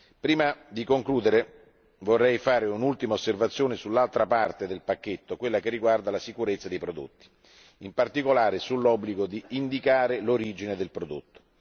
Prima di concludere, vorrei fare un'ultima osservazione sull'altra parte del pacchetto, quella riguardante la sicurezza dei prodotti, in particolare l'obbligo di indicare l'origine del prodotto.